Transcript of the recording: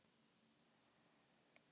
Mynd úr skógum Ekvador.